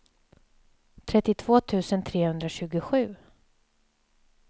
trettiotvå tusen trehundratjugosju